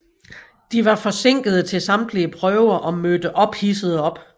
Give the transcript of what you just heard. De var forsinkede til samtlige prøver og mødte ophidsede op